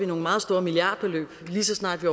nogle meget store milliardbeløb lige så snart vi